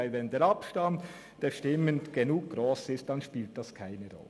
Denn wenn der Abstand der Stimmen gross genug ist, dann spielt es keine Rolle.